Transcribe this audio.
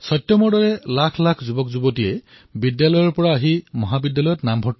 সত্যম দৰে বহু যুৱকে বিদ্যালয়ৰ পৰা ওলাই মহাবিদ্যালয়লৈ যায়